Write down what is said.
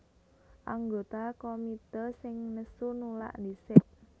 Anggota komité sing nesu nulak dhisik